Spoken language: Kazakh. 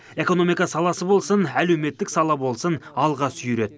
экономика саласы болсын әлеуметтік сала болсын алға сүйреді